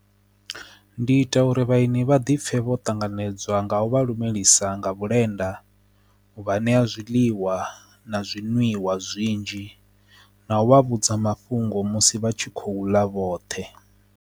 Ndi ita uri vhalimi vha ḓi pfe vho tanganedzwa nga u vha lumelisa nga vhulenda u vha ṋea zwiḽiwa na zwinwiwa zwinzhi na u vha vhudza mafhungo musi vha tshi khou ḽa vhoṱhe.